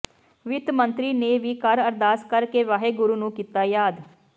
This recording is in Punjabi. ਵਿੱਤ ਮੰਤਰੀ ਨੇ ਵੀ ਘਰ ਅਰਦਾਸ ਕਰਕੇ ਵਾਹਿਗੁਰੂ ਨੂੰ ਕੀਤਾ ਯਾਦ